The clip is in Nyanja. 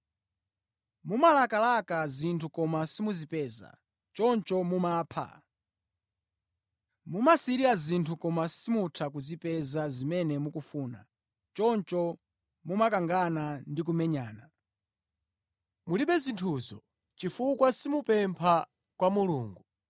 Mumalakalaka zinthu koma simuzipeza, choncho mumapha. Mumasirira zinthu koma simutha kuzipeza zimene mukufuna, choncho mumakangana ndi kumenyana. Mulibe zinthuzo chifukwa simupempha kwa Mulungu.